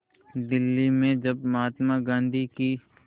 दिल्ली में जब महात्मा गांधी की